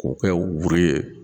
K'o kɛ u ye